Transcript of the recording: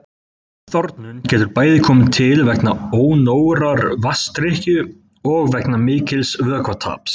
Ofþornun getur bæði komið til vegna ónógrar vatnsdrykkju og vegna mikils vökvataps.